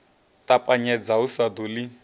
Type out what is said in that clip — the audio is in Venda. ṱapanyedza u sa ḓo ḽi